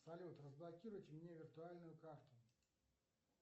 салют разблокируйте мне виртуальную карту